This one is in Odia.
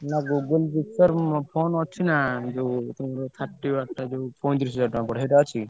ନା Google Pixel phone ଅଛି ନା ଯୋଉ ତମର thirty watt ଯୋଉ ପଇଁତିରିଶି ହଜାର ଟଙ୍କା ପଡିବ ସେଇଟା ଅଛିକି?